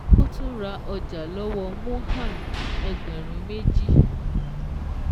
Ó tún ra ọjà lọ́wọ́ Mohan ẹgbẹ̀rún méjì